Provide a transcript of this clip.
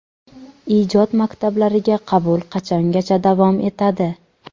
Ijod maktablariga qabul qachongacha davom etadi?.